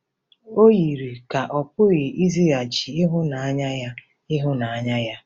O yiri ka ọ̀ pụghị ịzaghachi ịhụnanya ya. ịhụnanya ya.